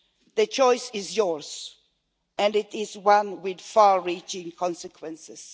The choice is yours, and it is one with far reaching consequences.